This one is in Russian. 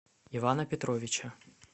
ивана петровича